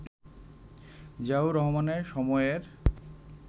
জিয়াউর রহমানের সময়ের